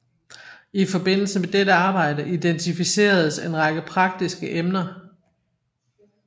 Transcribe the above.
I forbindelse med dette arbejde identificeredes en række praktiske emner